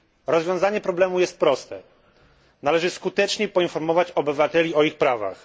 Rozwiązanie problemu jest proste należy skutecznie poinformować obywateli o ich prawach.